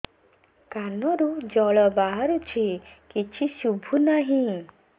କାନରୁ ଜଳ ବାହାରୁଛି କିଛି ଶୁଭୁ ନାହିଁ